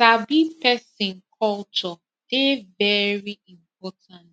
sabi person culture dey very important